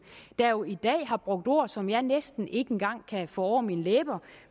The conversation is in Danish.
der jo i dag har brugt ord som jeg næsten ikke engang kan få over mine læber